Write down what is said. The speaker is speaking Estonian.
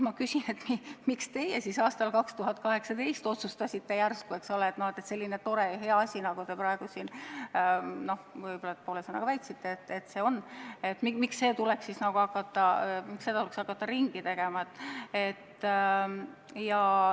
Ma küsingi, miks teie siis aastal 2018 otsustasite järsku, et selline tore ja hea asi, nagu see praegu siin väidetakse olevat, tuleks ringi teha.